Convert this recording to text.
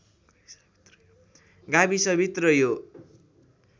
गाविसभित्र यो